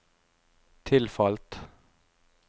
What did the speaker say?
tilfalt